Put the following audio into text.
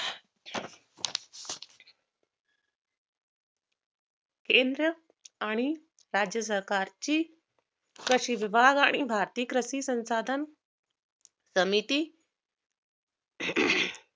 change आणि त्यातजेस आकारची कृषी विभाग आणि भारतीक कृषी संसाधन समिती